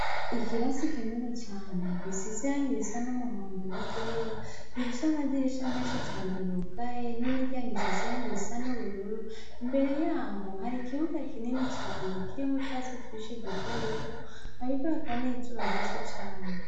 Ikirasi kinini cane, gisize irangi risa n'umuhondo n'iryera. Gifise amadirisha menshi cane yugaye n'imiryango isize irangi risa n'ubururu. Imbere yaho, hari ikibuga kinini cane kirimo utwatsi twishi duto duto, hariko hakaba n'izuba ryinshi cane.